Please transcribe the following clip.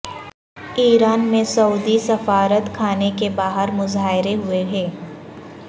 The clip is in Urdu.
ایران میں سعودی سفارت خانے کے باہر مظاہرے ہوئے ہیں